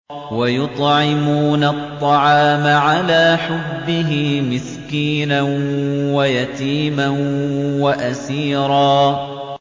وَيُطْعِمُونَ الطَّعَامَ عَلَىٰ حُبِّهِ مِسْكِينًا وَيَتِيمًا وَأَسِيرًا